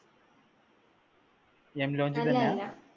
അല്ലാ അല്ലാ അല്ലാ